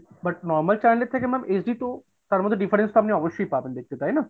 but normal channel এর থেকে ma'am HD তো তার মধ্যে difference তো আপনি অবশ্যই পাবেন দেখতে তাইনা?